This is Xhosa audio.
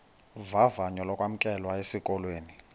vavanyo lokwamkelwa esikolweni